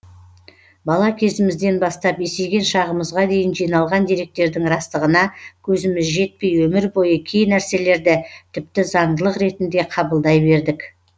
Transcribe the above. бала кезімізден бастап есейген шағымызға дейін жиналған деректердің растығына көзіміз жетпей өмір бойы кей нәрселерді тіпті заңдылық ретінде қабылдай бердік